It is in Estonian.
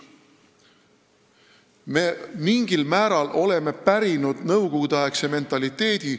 Me oleme mingil määral pärinud nõukogudeaegse mentaliteedi.